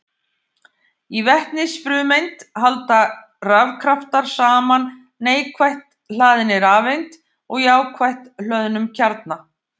Í vetnisfrumeind halda rafkraftar saman neikvætt hlaðinni rafeind og jákvætt hlöðnum kjarna.